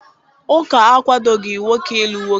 Ụka akwadoghị nwoke ịlụ nwoke